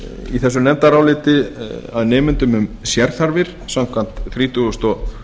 í þessu nefndaráliti að nemendum um sérþarfir samkvæmt þrítugustu og